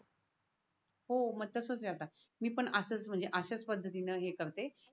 हो मग तसच ये आता मी पण असच म्हणजे असच पद्धतीने हे करते